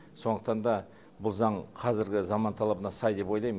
сондықтан да бұл заң қазіргі заман талабына сай деп ойлайм